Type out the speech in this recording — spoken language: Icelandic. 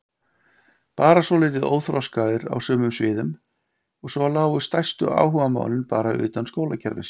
Bara svolítið óþroskaðir á sumum sviðum og svo lágu stærstu áhugamálin bara utan skólakerfisins.